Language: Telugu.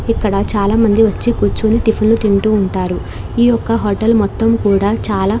ఇక్కడ చాలా మంది వచ్చి కూర్చుని టిఫిన్ లు తింటూ ఉంటారు ఈ యొక్క హోటల్ మొత్తం కూడా చాలా --